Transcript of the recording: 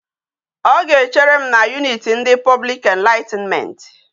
O ga echere m na unit ndi public enlightenment